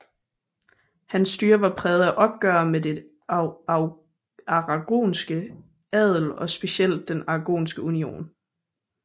Hans styre var præget af opgør med den aragonske adel og specielt den Aragonske Union